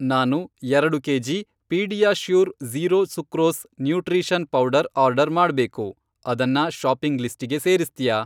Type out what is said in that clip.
ನಾನು ಎರಡು KG PediaSure zero sucrose nutrition powder order ಮಾಡ್ಬೇಕು, ಅದನ್ನ ಷಾಪಿಂಗ್ ಲಿಸ್ಟಿಗೆ ಸೇರಿಸ್ತ್ಯಾ?